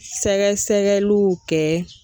Sɛgɛsɛgɛliw kɛ